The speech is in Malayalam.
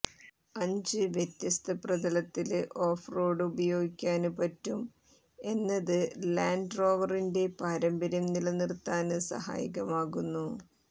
അഞ്ച് വ്യത്യസ്തപ്രതലത്തില് ഓഫ് റോഡ് ഉപയോഗിക്കാന് പറ്റും എന്നത് ലാന്റ് റോവറിന്റെ പാരമ്പര്യം നിലനിര്ത്താന് സഹായകമാകുന്നു